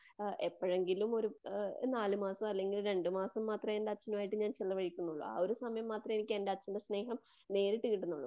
എപ്പഴെങ്കിലും ഒരു നാലുമാസം അല്ലങ്കിൽ രണ്ടുമാസം മാത്രമേ എനിക്ക് എന്റെ അച്ഛനുമായിട്ട് ചിലവഴിക്കുന്നുള്ളു. എ ഒരു സമയം മാത്രമേ എനിക്കെന്റെ അച്ഛന്റെ സ്നേഹം നേരിട്ട് കിട്ടുന്നുള്ളു.